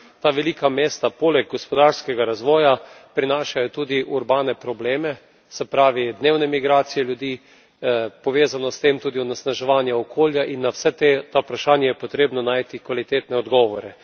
Ta velika mesta poleg gospodarskega razvoja prinašajo tudi urbane probleme, se pravi dnevne migracije ljudi, povezano s tem tudi onesnaževanje okolja in na vsa ta vprašanja je potrebno najti kvalitetne odgovore.